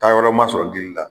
Taayɔrɔ ma sɔrɔ gili la